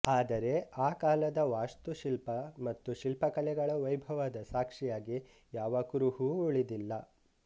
ಆದರೆ ಆ ಕಾಲದ ವಾಸ್ತುಶಿಲ್ಪ ಮತ್ತು ಶಿಲ್ಪಕಲೆಗಳ ವೈಭವದ ಸಾಕ್ಷಿಯಾಗಿ ಯಾವ ಕುರುಹೂ ಉಳಿದಿಲ್ಲ